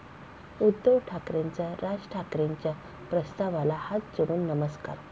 उद्धव ठाकरेंचा राज ठाकरेंच्या प्रस्तावाला हात जोडून नमस्कार!